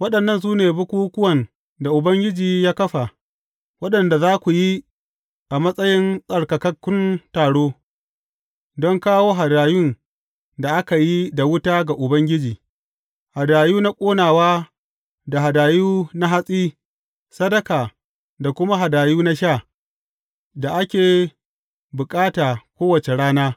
Waɗannan su ne bukukkuwan da Ubangiji ya kafa, waɗanda za ku yi a matsayin tsarkakakkun taro, don kawo hadayun da aka yi da wuta ga Ubangiji, hadayu na ƙonawa da hadayu na hatsi, sadaka da kuma hadayu na sha, da ake bukata kowace rana.